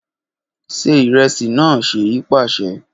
Ṣe iresi naa Seyi paṣẹ